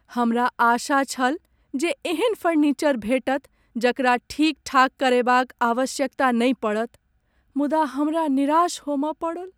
हमरा आशा छल जे एहन फर्निचर भेटत जकरा ठीक ठाक करयबाक आवश्यकता नहि पड़त मुदा हमरा निराश होमय पड़ल ।